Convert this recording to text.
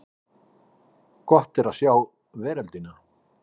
Gott er að sjá veröldina!